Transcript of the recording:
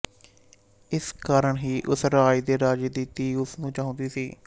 ਇਸ ਕਾਰਨ ਹੀ ਉਸ ਰਾਜ ਦੇ ਰਾਜੇ ਦੀ ਧੀ ਉਸ ਨੂੰ ਚਾਹੁੰਦੀ ਸੀ